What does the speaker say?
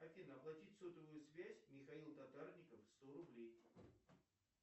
афина оплатить сотовую связь михаил татарников сто рублей